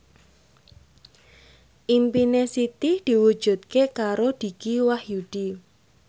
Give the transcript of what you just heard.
impine Siti diwujudke karo Dicky Wahyudi